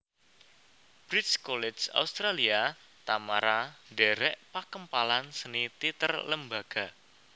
Bridge College Australia Tamara ndherek pakempalan seni teater Lembaga